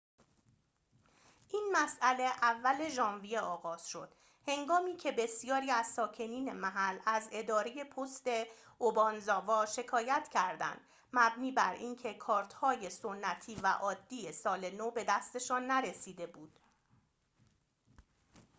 این مسئله اول ژانویه آغاز شد هنگامی که بسیاری از ساکنین محل از اداره پست اوبانزاوا شکایت کردند مبنی بر اینکه کارت‌های سنتی و عادی سال نو به دستشان نرسیده بود